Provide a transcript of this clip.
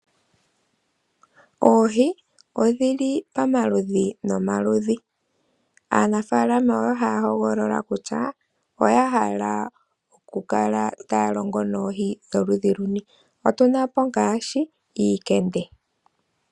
Oohii odhili pamaludhi nomaludhi, aanafalama oyo hahogolola kutya oyahala oku kala talongo noohii dholudhi luni, otunapo ngashi iikende.